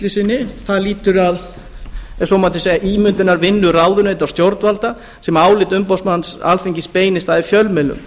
sinni lýtur að ef svo mætti segja ímyndarvinnu ráðuneyta og stjórnvalda sem álit umboðsmanns alþingis beinist að í fjölmiðlum